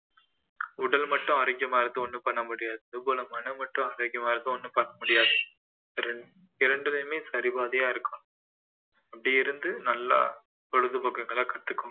உடல் மட்டும் ஆரோக்கியமா இருந்து ஒன்னும் பண்ண முடியாது அதுபோல மனம் மட்டும் ஆரோக்கியமா இருந்தும் ஒன்னும் பண்ண முடியாது இரண்~ இரண்டிலேயுமே சரி பாதியா இருக்கணும் அப்படி இருந்து நல்லா பொழுது போக்குங்களை கத்துக்கோங்க